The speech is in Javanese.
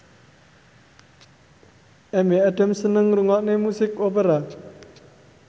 Amy Adams seneng ngrungokne musik opera